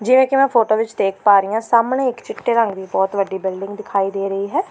ਜਿਵੇਂ ਕੀ ਮੈਂ ਫੋਟੋ ਵਿੱਚ ਦੇਖ ਪਾ ਰਹੀ ਆਂ ਸਾਹਮਣੇ ਇੱਕ ਚਿੱਟੇ ਰੰਗ ਦੀ ਬਹੁਤ ਵੱਡੀ ਬਿਲਡਿੰਗ ਦਿਖਾਈ ਦੇ ਰਹੀ ਹੈ।